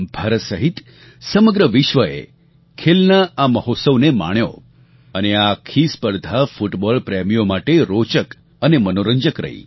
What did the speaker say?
ભારત સહિત સમગ્ર વિશ્વએ ખેલના આ મહોત્સવને માણ્યો અને આ આખી સ્પર્ધા ફૂટબૉલ પ્રેમીઓ માટે રોચક અને મનોરંજક રહી